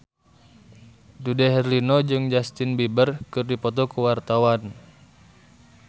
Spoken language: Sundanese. Dude Herlino jeung Justin Beiber keur dipoto ku wartawan